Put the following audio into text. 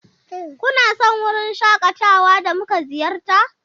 Kuna son wurin shakatawa da muka ziyarta?